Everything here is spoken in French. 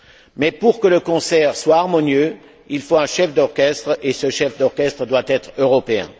Mais pour que le concert soit harmonieux, il faut un chef d'orchestre, et ce chef d'orchestre doit être européen.